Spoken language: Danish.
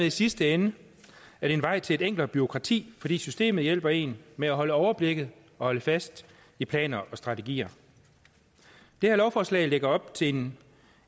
i sidste ende en vej til et enklere bureaukrati fordi systemet hjælper en med at holde overblikket og holde fast i planer og strategier det her lovforslag lægger op til en